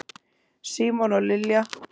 Símon og Lilja.